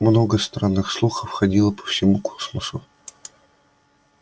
много странных слухов ходило по всему космосу